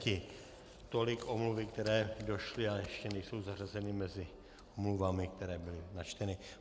Tolik omluvy, které došly, ale ještě nejsou zařazeny mezi omluvami, které byly načteny.